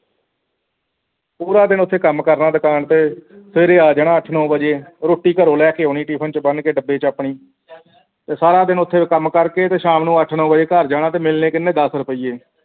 ਪੂਰਾ ਦਿਨ ਓਥੇ ਕੰਮ ਕਰਨਾ ਦੁਕਾਨ ਤੇ ਸਵੇਰੇ ਆ ਜਾਣਾ ਅੱਠ-ਨੌਂ ਵਜੇ ਰੋਟੀ ਘਰੋਂ ਲੈ ਕੇ ਆਉਣੀ tiffin ਦੇ ਵਿੱਚ ਬੰਨ੍ਹ ਕੇ ਡੱਬੇ ਵਿਚ ਆਪਣੀ ਤੇ ਸਾਰਾ ਦਿਨ ਉੱਥੇ ਕੰਮ ਕਰਕੇ ਤੇ ਸ਼ਾਮ ਨੂੰ ਅੱਠ-ਨੌਂ ਵਜੇ ਘਰ ਜਾਣਾ ਤੇ ਮਿਲਣੇ ਕਿੰਨੇ ਦਸ ਰੁਪਈਏ